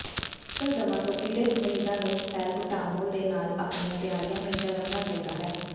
bronchial ਦਮਾ ਤੋਂ ਪੀੜਤ ਮਰੀਜ਼ਾਂ ਨੂੰ ਸੈਲਬੂਟਾਮੋਲ ਦੇ ਨਾਲ ਆਪਣੀਆਂ ਤਿਆਰੀਆਂ ਹਮੇਸ਼ਾਂ ਰੱਖਣਾ ਚਾਹੀਦਾ ਹੈ